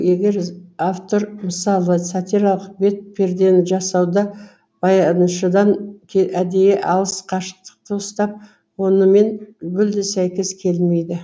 егер автор мысалы сатиралық бет пердені жасауда баяншыдан әдейі алыс қашықтықты ұстап онымен мүлдем сәйкес келмейді